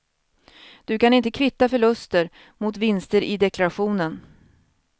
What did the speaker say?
Du kan inte kvitta förluster mot vinster i deklarationen.